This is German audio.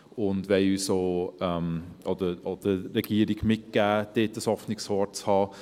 Wir wollen auch der Regierung mitgeben, dort ein offenes Ohr zu haben.